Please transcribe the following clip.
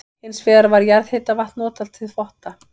Hins vegar var jarðhitavatn notað til þvotta.